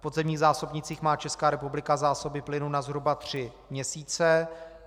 V podzemních zásobnících má Česká republika zásoby plynu na zhruba tři měsíce.